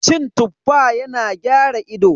Cin Tuffa yana gyara ido.